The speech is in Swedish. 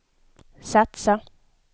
satsa